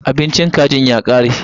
Abincin kajin ya kare.